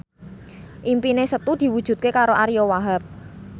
impine Setu diwujudke karo Ariyo Wahab